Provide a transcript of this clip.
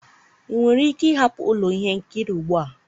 ị nwere ike ịhapụ ụlọ ihe nkiri ugbu a?